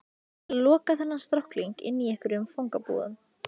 Til að loka þennan strákling inni í einhverjum fangabúðum?